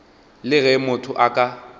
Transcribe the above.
le ge motho a ka